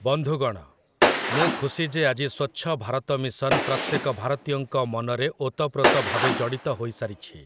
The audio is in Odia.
ବନ୍ଧୁଗଣ, ମୁଁ ଖୁସି ଯେ ଆଜି ସ୍ୱଚ୍ଛ ଭାରତ ମିଶନ ପ୍ରତ୍ୟେକ ଭାରତୀୟଙ୍କ ମନରେ ଓତପ୍ରୋତ ଭାବେ ଜଡ଼ିତ ହୋଇସାରିଛି ।